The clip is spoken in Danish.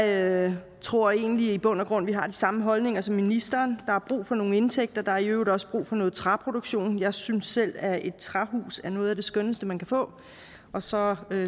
jeg tror egentlig at vi i bund og grund har de samme holdninger som ministeren der er brug for nogle indtægter og der er i øvrigt også brug for noget træproduktion jeg synes selv at et træhus er noget af det skønneste man kan få og så